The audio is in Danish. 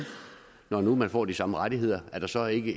når de nu får de samme rettigheder er der så ikke